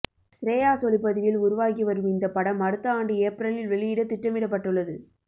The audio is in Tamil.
ஷ்ரேயாஸ் ஒளிப்பதிவில் உருவாகி வரும் இந்த படம் அடுத்த ஆண்டு ஏப்ரலில் வெளியிட திட்டமிடப்பட்டுள்ளது